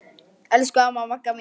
Elsku amma Magga mín.